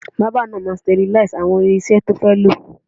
Bábà náà máa sterlize àwọn irinṣẹ́ tí ó fẹ́ lò.